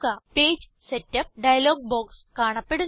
page setup dialog box കാണപ്പെടുന്നു